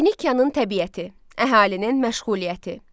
Finikyanın təbiəti, əhalinin məşğuliyyəti.